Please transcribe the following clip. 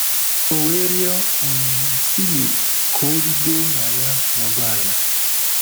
O we riọ um Filip ka o rigo na ya nọdu ala; ”